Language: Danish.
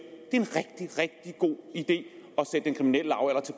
at det